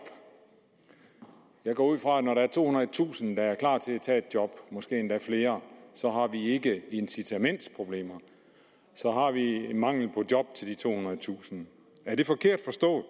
jeg går ud fra at når der er tohundredetusind der er klar til at tage et job måske endda flere så har vi ikke incitamentsproblemer så har vi mangel på job til de tohundredetusind er det forkert